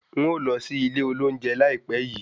N̄ ó lọ sí ilé olóunje láìpẹ́ yii